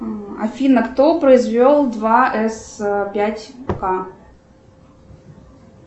афина кто произвел два с пять к